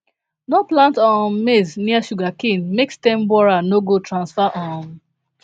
no plant um maize near sugarcane make stem borer no go transfer um